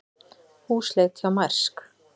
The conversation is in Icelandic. Húsleit hjá Mærsk